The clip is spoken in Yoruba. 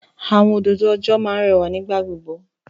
Àwọn òdòdó ọjọ́ máa ń rẹwà nígbà gbogbo.